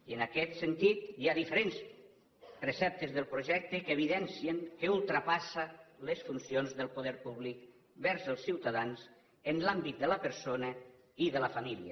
i en aquest sentit hi ha diferents preceptes del projecte que evidencien que ultrapassa les funcions del poder públic amb relació als ciutadans en l’àmbit de la persona i de la família